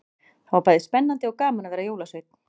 Það var bæði spennandi og gaman að vera jólasveinn.